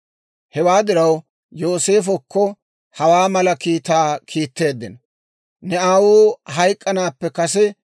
Hewaa diraw Yooseefokko hawaa mala kiitaa kiitteeddino; «Ne aawuu hayk'k'anaappe kase;